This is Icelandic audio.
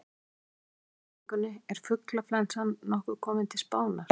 Hér er einnig svarað spurningunni: Er fuglaflensan nokkuð komin til Spánar?